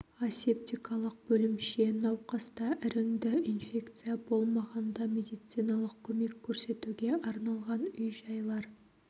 асептикалық бөлімше науқаста іріңді инфекция болмағанда медициналық көмек көрсетуге арналған үй-жайлар